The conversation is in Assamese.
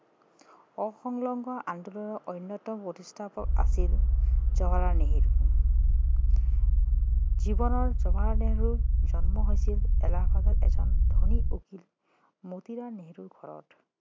অসংলগ্ন আন্দোলনৰ অন্যতম প্ৰতিস্থাপক আছিল জৱাহৰলাল নেহেৰু জৱাহৰলাল নেহেৰুৰ জন্ম হৈছিল এলাহাবাদৰ এজন ধনী উকীল মতিলাল নেহেৰুৰ ঘৰত